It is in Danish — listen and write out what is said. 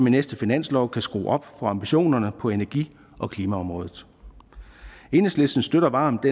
i næste finanslov kan skrue op for ambitionerne på energi og klimaområdet enhedslisten støtter varmt